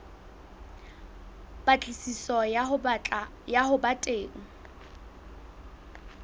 patlisiso ya ho ba teng